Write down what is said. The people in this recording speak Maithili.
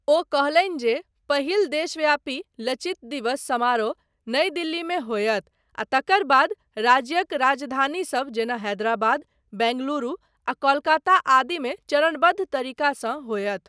ओ कहलनि जे पहिल देशव्यापी 'लचित दिवस' समारोह नई दिल्लीमे होयत आ तकर बाद राज्यक राजधानीसब जेना हैदराबाद, बेङ्गलुरु, आ कोलकाता आदिमे चरणबद्ध तरीकासँ होयत।